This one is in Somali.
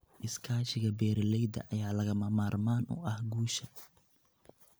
Iskaashiga beeralayda ayaa lagama maarmaan u ah guusha.